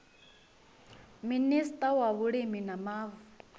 minista wa vhulimi na mavu